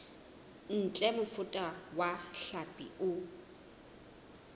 ntle mofuta wa hlapi o